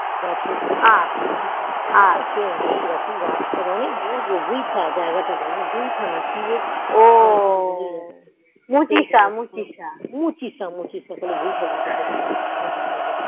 গাছের সে অনেক রকম গাছ থাক অনেক দূর গো বিথা জায়গা তা বুয়েট না ই বেশ মুছিস মুছিস ভুল করে বিথা বিথা করছিলাম